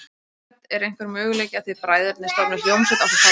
Hödd: Er einhver möguleiki á að þið bræðurnir stofnið hljómsveit ásamt pabba ykkar?